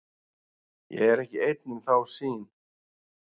Ég er ekki einn um þá sýn.